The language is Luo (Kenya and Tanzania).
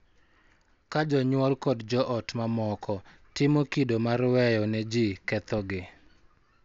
Ka jonyuol kod jo ot mamoko timo kido mar weyo ne ji kethogi, .